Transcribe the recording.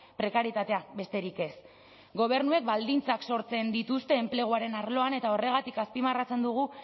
prekarietatea besterik ez gobernuek baldintzak sortzen dituzte enpleguaren arloan eta horregatik azpimarratzen dugu